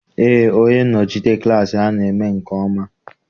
Eé, onye nnọchite klassị ha na eme nke ọma.